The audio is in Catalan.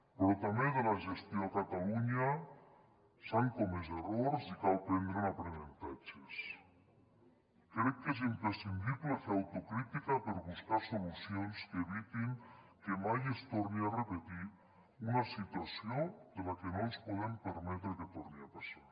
però també en la gestió a catalunya s’han comès errors i cal prendre’n aprenentatges crec que és imprescindible fer autocrítica per buscar solucions que evitin que mai es torni a repetir una situació que no ens podem permetre que torni a passar